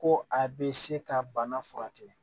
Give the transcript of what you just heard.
Ko a bɛ se ka bana furakɛ